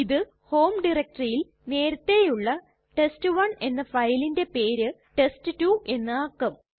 ഇത് ഹോം ഡയറക്ടറിയിൽ നേരത്തെയുള്ള ടെസ്റ്റ്1 എന്ന ഫയലിന്റെ പേര് ടെസ്റ്റ്2 എന്ന് ആക്കും